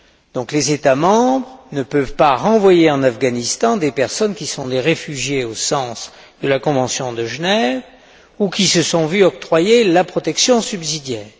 Donc les États membres ne peuvent pas renvoyer en Afghanistan des personnes qui sont des réfugiés au sens de la convention de Genève ou qui se sont vu octroyer la protection subsidiaire.